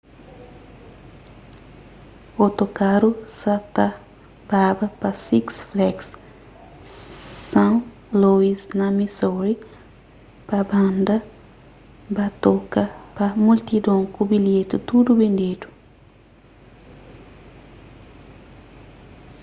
otokaru sa ta baba pa six flags st louis na missouri pa banda ba toka pa multidon ku bilheti tudu bendedu